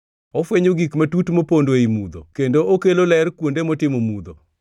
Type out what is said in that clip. Ofwenyo gik matut mopondo ei mudho kendo okelo ler kuonde motimo mudho.